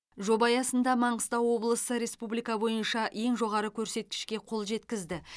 жоба аясында маңғыстау облысы республика бойынша ең жоғары көрсеткішке қол жеткізді